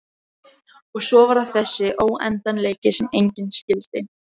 Og svo var það þessi óendanleiki sem enginn skildi.